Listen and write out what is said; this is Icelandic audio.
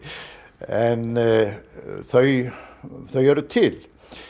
en þau þau eru til